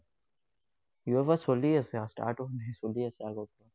UFA চলি আছে, start হোৱা নাই, চলি আছে আগৰ পৰা।